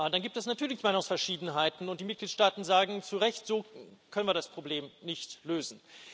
Dann gibt es natürlich Meinungsverschiedenheiten, und die Mitgliedstaaten sagen zu Recht So können wir das Problem nicht lösen.